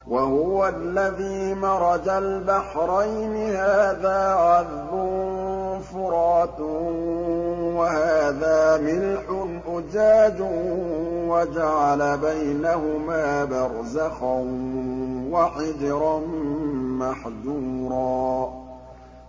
۞ وَهُوَ الَّذِي مَرَجَ الْبَحْرَيْنِ هَٰذَا عَذْبٌ فُرَاتٌ وَهَٰذَا مِلْحٌ أُجَاجٌ وَجَعَلَ بَيْنَهُمَا بَرْزَخًا وَحِجْرًا مَّحْجُورًا